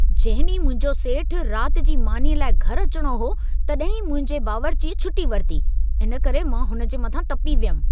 जंहिं ॾींहुं मुंहिंजो सेठु राति जी मानीअ लाइ घर अचिणो हो, तॾहिं ई मुंहिंजे बावरिचीअ छुटी वरिती। इन करे मां हुन जे मथां तपी वियमि।